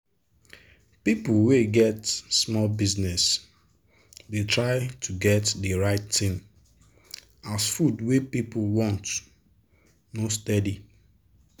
people wey get small business dey try to get de right thing as food wey people want no steady.